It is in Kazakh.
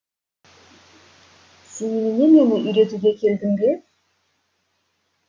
сен немене мені үйретуге келдің бе